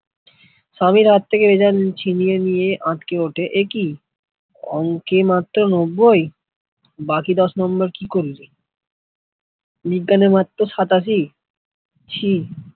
সভি হাত থেকে result ছিনিয়ে নিয়ে আঁতকে ওঠে একই অংকে মাত্র নব্যই বাকি দশ নাম্বার কি করলি, বিজ্ঞানের মাত্র সাতাশি ছী